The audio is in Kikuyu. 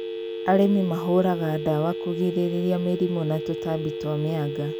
Arĩmi mahũraga ndawa kũgirĩrĩria mĩrimũ na tũtambi twa mĩanga